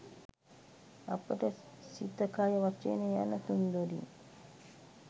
අපට සිත කය වචනය යන තුන්දොරින්